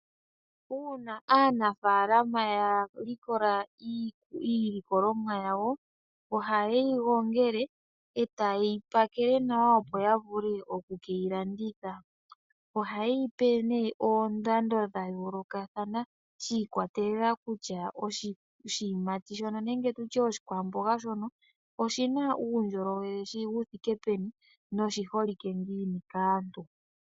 UUna aanafaalama ya likola iilikolomwa yawo ohaye yi gongele e taye yi pakele nawa, opo ya vule oku ke yi landitha. Ohaye yi pe nduno oondando dha yoolokathana shi ikwatelela kutya oshiyimati nenge oshikwamboga shono oshi na uundjolowele wu thike peni noshi holike ngiini kaantu.